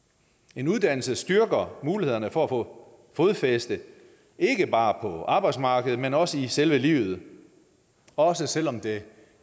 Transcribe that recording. en uddannelse styrker mulighederne for at få fodfæste ikke bare på arbejdsmarkedet men også i selve livet også selv om det